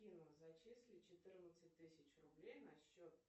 афина зачисли четырнадцать тысяч рублей на счет